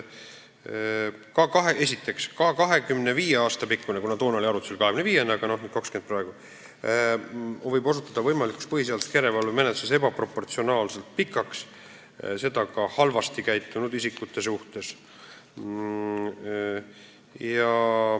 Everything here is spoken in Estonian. Esiteks, 25 aasta pikkune tähtaeg – algul oli arutusel 25 aastat, nüüd on 20 aastat – võib võimalikus põhiseaduslikkuse järelevalve menetluses osutuda ebaproportsionaalselt pikaks, seda ka halvasti käitunud isikute suhtes.